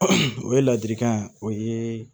o ye ladilikan ye o ye